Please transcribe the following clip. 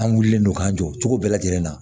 An wulilen don k'an jɔ cogo bɛɛ lajɛlen na